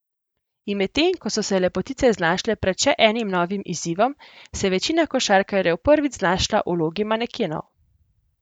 In medtem ko so se lepotice znašle pred še enim novim izzivom, se je večina košarkarjev prvič znašla v vlogi manekenov.